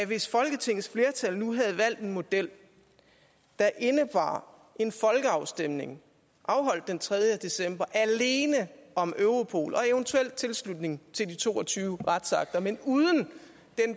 hvis folketingets flertal nu havde valgt en model der indebar en folkeafstemning afholdt den tredje december alene om europol og eventuel tilslutning til de to og tyve retsakter men uden